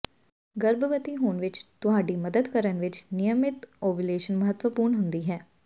ਗਰਭਵਤੀ ਹੋਣ ਵਿੱਚ ਤੁਹਾਡੀ ਮਦਦ ਕਰਨ ਵਿੱਚ ਨਿਯਮਿਤ ਓਵੂਲੇਸ਼ਨ ਮਹੱਤਵਪੂਰਣ ਹੁੰਦੀ ਹੈ